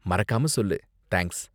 மறக்காம சொல்லு. தேங்க்ஸ்.